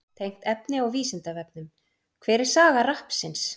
Tengt efni á Vísindavefnum: Hver er saga rappsins?